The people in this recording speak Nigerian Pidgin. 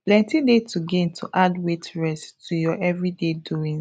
plenty dey to gain to add wait rest to ur everyday doings